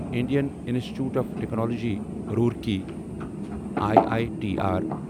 Indian institute of technology Roorkee I I T R